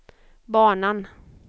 banan